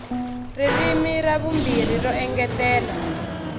ririmi ra vumbirhi ro engetela